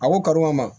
A ko kad'u ma